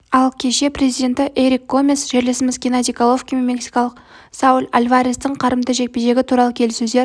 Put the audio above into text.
ал кеше президенті эрик гомес жерлесіміз геннадий головкин мен мексикалық сауль альварестің қарымта жекпе-жегі туралы келіссөздер